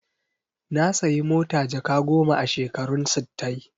Na sayi mota jaka goma a shekarun sittai.